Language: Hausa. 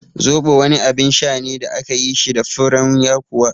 Zobo wani abin sha ne da akayi shi da furen yakuwa